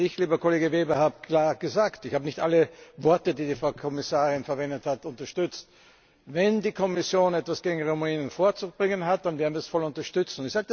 Ich, lieber Kollege Weber, habe klar gesagt ich habe nicht alles, was die Frau Kommissarin gesagt hat, unterstützt Wenn die Kommission etwas gegen Rumänien vorzubringen hat, dann werden wir das voll unterstützen.